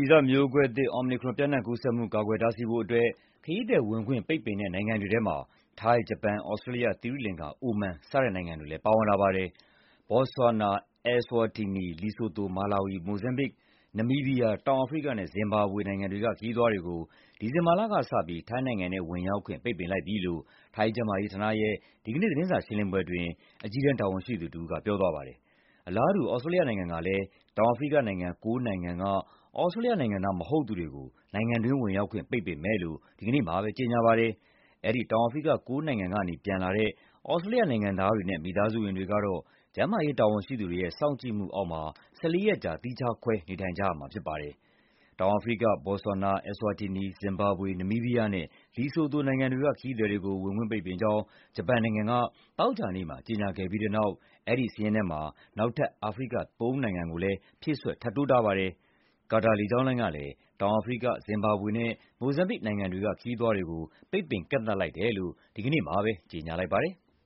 ီဇမျိုးကွဲသစ် Omicron ပျံ့နှံ့ကူးစက်မှု ကာကွယ်တားဆီးဖို့အတွက် ခရီးသည်ဝင်ခွင့် ပိတ်ပင်တဲ့ နိုင်ငံတွေထဲမှာ ထိုင်း၊ ဂျပန်၊ သြစတြေးလျ၊ သီရိလင်္ကာ၊ အိုမန် စတဲ့နိုင်ငံတွေလည်း ပါဝင်လာပါတယ်။ ဘော့ဆွာနာ၊ Eswatini၊ လီဆိုသို၊ မာလာဝီ၊ မိုဇမ်ဘစ်၊ နမီးဘီးယား၊ တောင်အာဖရိကနဲ့ ဇင်ဘာဘွေနိုင်ငံတွေက ခရီးသွားတွေကို ဒီဇင်ဘာလကစပြီး ထိုင်းနိုင်ငံထဲ ဝင်ရောက်ခွင့် ပိတ်ပင်လိုက်ပြီလို့ ထိုင်းကျန်းမာရေးဌာနရဲ့ ဒီကနေ့ သတင်းစာရှင်းလင်းပွဲအတွင်း အကြီးတန်း တာဝန်ရှိသူတဦးက ပြောသွားပါတယ်။ အလားတူ သြစတြေးလျနိုင်ငံကလည်း တောင်အာဖရိက ၉ နိုင်ငံက သြစတြေးလျနိုင်ငံသား မဟုတ်သူတွေကို နိုင်ငံတွင်းဝင်ရောက်ခွင့် ပိတ်ပင်မယ်လို့ ဒီကနေ့မှာပဲ ကြေညာပါတယ်။ အဲဒီ တောင်အာဖရိက ၉ နိုင်ငံကနေ ပြန်လာတဲ့ သြစတြေးလျနိုင်ငံသားတွေနဲ့ မိသားစုဝင်တွေကတော့ ကျန်းမာရေးတာဝန်ရှိသူတွေရဲ့ စောင့်ကြည့်မှုအောက်မှာ ၁၄ ရက်ကြာ သီးခြားခွဲ နေထိုင်ကြရမှာ ဖြစ်ပါတယ်။ တောင်အာဖရိက၊ ဘော့ဆွာနာ၊ Eswatini၊ ဇင်ဘာဘွေ၊ နမီးဘီးယားနဲ့ လီဆိုသိုနိုင်ငံတွေက ခရီးသည်တွေကို ဝင်ခွင့်ပိတ်ပင်ကြောင်း ဂျပန်နိုင်ငံက သောကြာနေ့မှာ ကြေညာခဲ့ပြီးတဲ့နောက် အဲဒီစာရင်းထဲမှာ နောက်ထပ် အာဖရိက ၃ နိုင်ငံ ဖြည့်စွက် ထပ်တိုးထားပါတယ်။ ကာတာလေကြောင်းလိုင်းကလည်း တောင်အာဖရိက၊ ဇင်ဘာဘွေနဲ့ မိုဇမ်ဘစ် နိုင်ငံတွေက ခရီးသည်တွေကို ပိတ်ပင်ကန့်သတ်လိုက်တယ်လို့ ဒီကနေ့မှာပဲ ကြေညာထားပါတယ်။